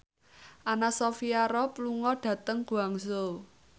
Anna Sophia Robb lunga dhateng Guangzhou